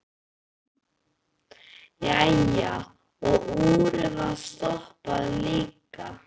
Jæja, og úrið var stoppað líka.